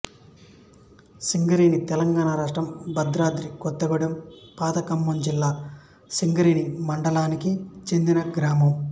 సింగరేణి తెలంగాణ రాష్ట్రం భద్రాద్రి కొత్తగూడెం పాత ఖమ్మం జిల్లా సింగరేణి మండలానికి చెందిన గ్రామం